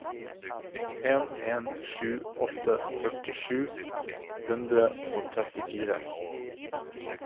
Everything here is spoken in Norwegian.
en en sju åtte førti sju hundre og trettifire